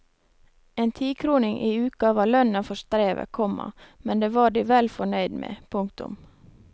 En tikroning i uke var lønna for strevet, komma men det var de vel fornøyd med. punktum